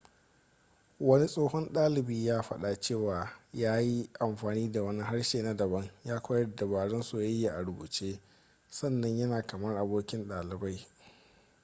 wani tsohon dalibi ya fada cewa ya ‘yi amfani da wani harshe na dabam ya koyar da dabarun soyayya a rubuce sannan yana kamar abokin daliban.’